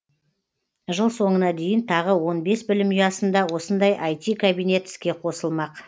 жыл соңына дейін тағы он бес білім ұясында осындай іт кабинет іске қосылмақ